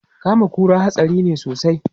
Kama kura hatsari ne sosai.